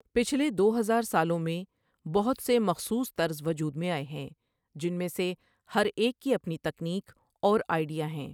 پچھلے دو ہزار سالوں میں، بہت سے مخصوص طرز وجود میں آئے ہیں، جن میں سے ہر ایک کی اپنی تکنیک اور آئیڈیا ہیں۔